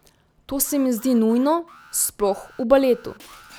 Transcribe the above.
To se mi zdi nujno, sploh v baletu.